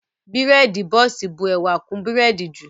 Bírèèdì bọ́ọ̀sì bu ẹwà kún bírèèdì jù